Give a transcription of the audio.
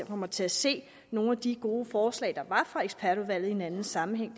kommer til at se nogle af de gode forslag der var fra ekspertudvalget i en anden sammenhæng